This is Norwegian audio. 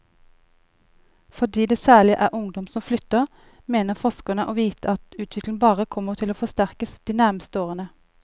Fordi det særlig er ungdom som flytter, mener forskerne å vite at utviklingen bare kommer til å forsterkes de nærmeste årene.